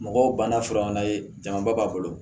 Mɔgɔw banna fura ye jamaba bolo